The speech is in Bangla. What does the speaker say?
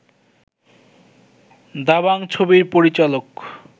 দাবাং ছবির পরিচালক